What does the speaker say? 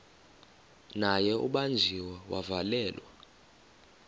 naye ubanjiwe wavalelwa